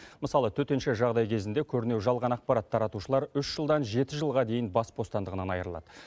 мысалы төтенше жағдай кезінде көрнеу жалған ақпарат таратушылар үш жылдан жеті жылға дейін бас бостандығынан айырылады